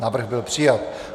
Návrh byl přijat.